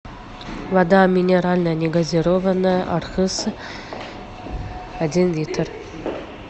вода минеральная негазированная архыз один литр